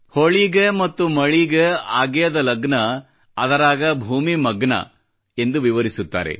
ಹೊಳಿಗೆ ಮತ್ತ ಮಳಿಗೆ ಆಗ್ಯೇದ್ ಲಗ್ನ ಅದರಾಗ ಭೂಮಿ ಮಗ್ನ ಎಂದು ವಿವರಿಸ್ತಾರೆ